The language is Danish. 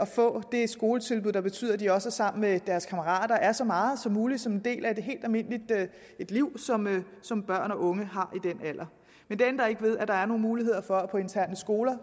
få det skoletilbud der betyder at de også er sammen med deres kammerater og er det så meget som muligt som en del af et helt almindeligt liv som som børn og unge har den alder men det ændrer ikke ved at der er nogle muligheder for at få interne skoler